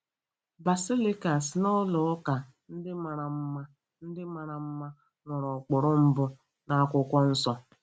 Basilikas na ụlọ ụka ndị mara mma ndị mara mma nwere ụkpụrụ mbụ n'Akwụkwọ Nsọ?